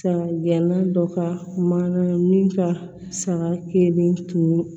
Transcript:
Saga gɛnna dɔ ka mana min ka saga kelen tunun